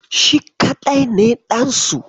Shi kaɗai ne ɗansu.